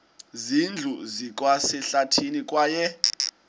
zindlu zikwasehlathini kwaye